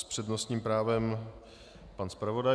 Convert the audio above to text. S přednostním právem pan zpravodaj.